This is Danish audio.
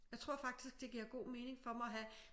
Jeg tror faktisk det giver god mening for mig at have